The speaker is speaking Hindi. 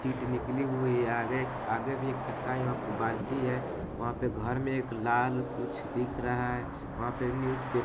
सीट निकली हुई है आगे एक आगे भी एक चक्का है वहाँ पे बाल्टी है वहाँ पे घर में एक लाल कुछ दिख रहा है वहाँ पे न्यूज़ पे --